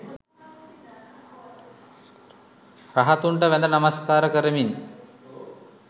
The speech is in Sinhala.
රහතුන්ට වැඳ නමස්කාර කරමින්